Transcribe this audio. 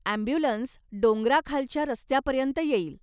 Ambulance डोंगराखालच्या रस्त्यापर्यंत येईल.